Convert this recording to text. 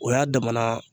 O y'a damana